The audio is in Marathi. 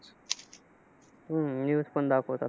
हम्म news पण दाखवतात.